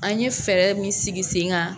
An ye fɛɛrɛ min sigi sen kan.